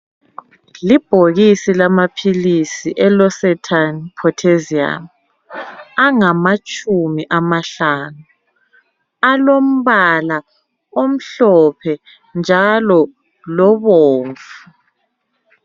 Libhokisi lamaphilisi eLorsatan Pottasium angamatshumi amahlanu. Alombala omhlophe njalo lobomvu.